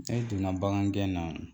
Ne donna bagan gɛn na